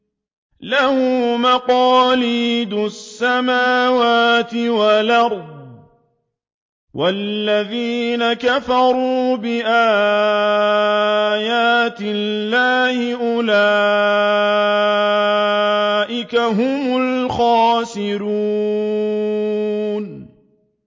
لَّهُ مَقَالِيدُ السَّمَاوَاتِ وَالْأَرْضِ ۗ وَالَّذِينَ كَفَرُوا بِآيَاتِ اللَّهِ أُولَٰئِكَ هُمُ الْخَاسِرُونَ